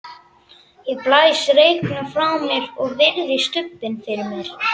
Ég blæs reyknum frá mér og virði stubbinn fyrir mér.